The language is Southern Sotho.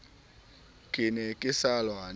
ke ne ke sa lwane